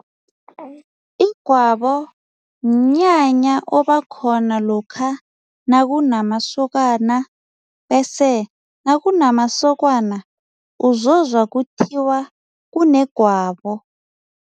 Igwabo mnyanya obakhona lokha nakunamasokana bese nakunamasokana uzozwa kuthiwa kunegwabo.